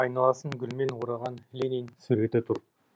айналасын гүлмен ораған ленин суреті тұр